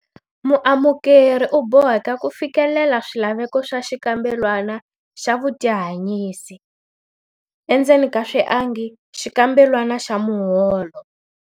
Muamukeri u boheka ku fikelela swilaveko swa xikambelwana xa vutihanyisi, xikambelwana xa muholo.